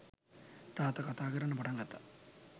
තාත්තා කතා කරන්න පටන් ගත්තා